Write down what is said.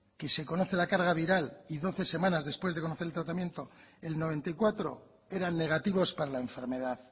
que se conoce la carga viral y doce semanas después de conocer el tratamiento el noventa y cuatro eran negativos para la enfermedad